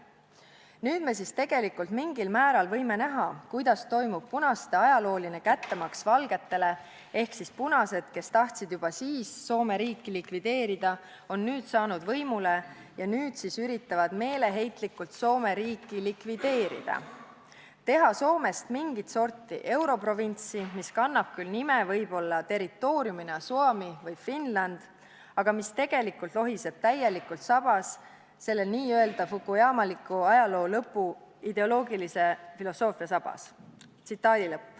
Nüüd me siis tegelikult mingil määral võime näha, kuidas toimub punaste ajalooline kättemaks valgetele ehk siis punased, kes tahtsid juba siis Soome riiki likvideerida, on nüüd saanud võimule ja nüüd siis üritavad meeleheitlikult Soome riiki likvideerida, teha Soomest mingit sorti europrovintsi, mis kannab küll nime võib-olla territooriumina Suomi või Finland, aga mis tegelikult lohiseb täielikult selle n-ö fukuyamaliku ajaloo lõpu ideoloogilise filosoofia sabas.